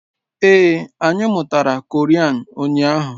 Ee, anyị mụtara Korean ụnyaahụ